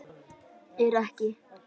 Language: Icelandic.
Er ekki